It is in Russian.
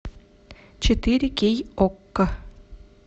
четыре кей окко